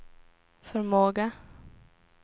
förmåga